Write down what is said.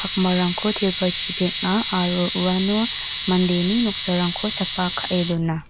pakmarangko tilparchi peng·a aro uano mandeni noksarangko chapa ka·e dona.